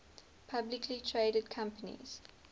publicly traded companies